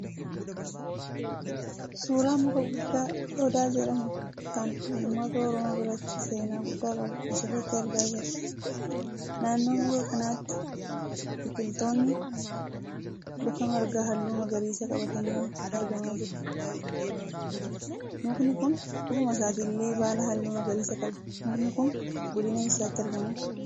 Suuraa muka guddaa Odaa jedhamu kan ummata Oromoo biratti seenaa guddaa qabu asirratti argaa jirra. Naannoo muka kanaatti biqiltoonni lafa margaa halluu magariisa qabatanii argamaa jiru. Mukni kun ofuma isaatillee baala halluu magariisaa qaba. Mukni kun godina eessaatti argama?